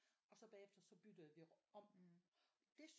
Og så bagefter så bytter vi om det